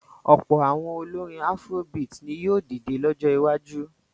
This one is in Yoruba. Ọ̀pọ̀ àwọn olórin afrobeat ni yóò dìde lọ́jọ́ iwájú.